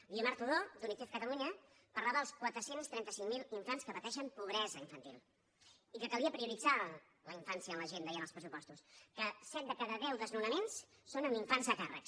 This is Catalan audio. guiomar todó d’unicef catalunya parlava dels quatre cents i trenta cinc mil infants que pateixen pobresa infantil i que calia prioritzar la infància en l’agenda i en els pressupostos que set de cada deu desnonaments són amb infants a càrrec